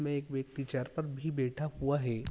में एक व्यक्ति चौर पर भी बैठा हुआ हैं।